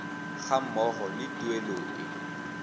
ga mmogo le tuelo e